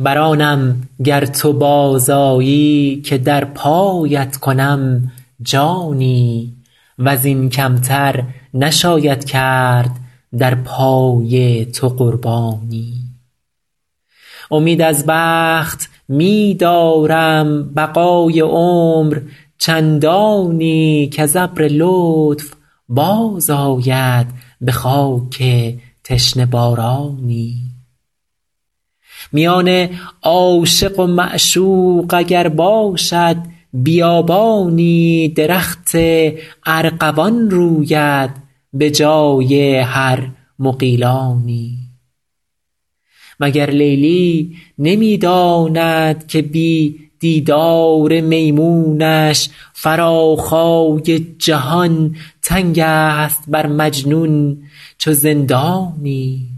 بر آنم گر تو باز آیی که در پایت کنم جانی و زین کم تر نشاید کرد در پای تو قربانی امید از بخت می دارم بقای عمر چندانی کز ابر لطف باز آید به خاک تشنه بارانی میان عاشق و معشوق اگر باشد بیابانی درخت ارغوان روید به جای هر مغیلانی مگر لیلی نمی داند که بی دیدار میمونش فراخای جهان تنگ است بر مجنون چو زندانی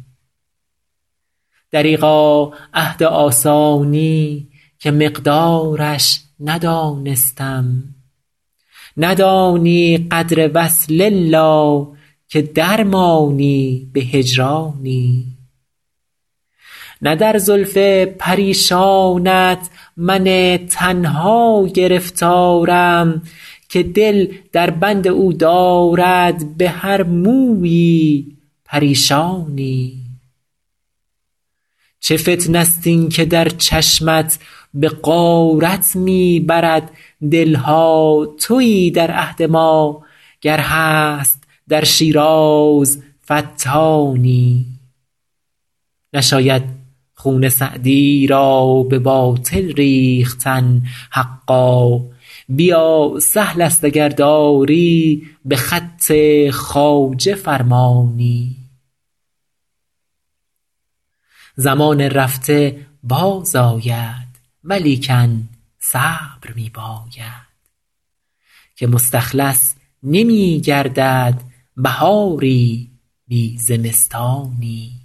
دریغا عهد آسانی که مقدارش ندانستم ندانی قدر وصل الا که در مانی به هجرانی نه در زلف پریشانت من تنها گرفتارم که دل در بند او دارد به هر مویی پریشانی چه فتنه ست این که در چشمت به غارت می برد دل ها تویی در عهد ما گر هست در شیراز فتانی نشاید خون سعدی را به باطل ریختن حقا بیا سهل است اگر داری به خط خواجه فرمانی زمان رفته باز آید ولیکن صبر می باید که مستخلص نمی گردد بهاری بی زمستانی